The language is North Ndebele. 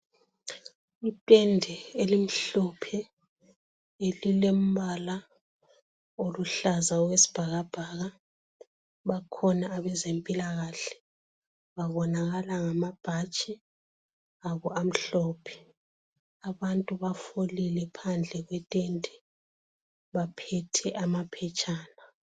Itende elimhlophe elilembala oluhlaza wesibhakabhaka, bakhona abezempilakahle babonakala ngamabhatshi obo amhlophe, abantu bafolile phandle kwetende baphethe amaphetshana.